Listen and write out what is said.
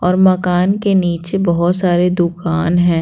और मकान के नीचे बहुत सारे दुकान है।